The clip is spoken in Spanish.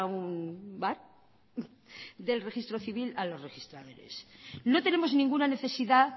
un bar del registro civil a los registradores no tenemos ninguna necesidad